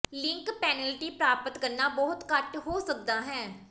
link penalty ਪ੍ਰਾਪਤ ਕਰਨਾ ਬਹੁਤ ਘੱਟ ਹੋ ਸਕਦਾ ਹੈ